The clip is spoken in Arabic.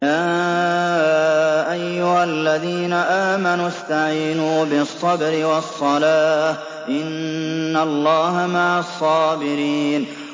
يَا أَيُّهَا الَّذِينَ آمَنُوا اسْتَعِينُوا بِالصَّبْرِ وَالصَّلَاةِ ۚ إِنَّ اللَّهَ مَعَ الصَّابِرِينَ